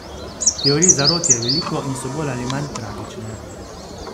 Teorij zarot je veliko in so bolj ali manj tragične.